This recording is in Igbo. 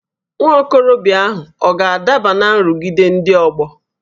Nwa okorobịa ahụ ọ̀ ga-adaba ná nrụgide ndị ọgbọ?